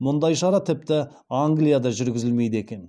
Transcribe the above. мұндай шара тіпті англияда жүргізілмейді екен